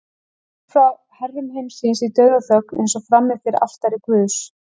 Burt frá herrum heimsins í dauðaþögn, eins og frammi fyrir altari guðs.